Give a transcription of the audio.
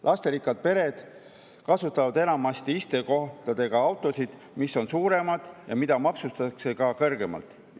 Lasterikkad pered kasutavad enamate istekohtadega autosid, mis on suuremad ja mida maksustatakse ka kõrgemalt.